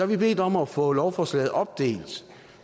vi bedt om at få lovforslaget opdelt